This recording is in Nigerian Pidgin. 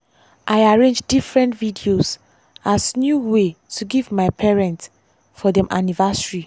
i arrange different videos as new way to give my parents for dem anniversary.